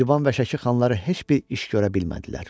Şirvan və Şəki xanları heç bir iş görə bilmədilər.